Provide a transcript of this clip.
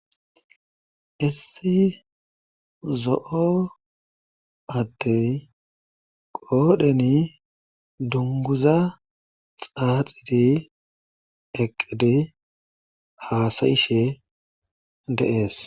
Issi zo7o addey qoodheni dungguza qoodheni xaaxi eqqidi haasa7ishe de7ees.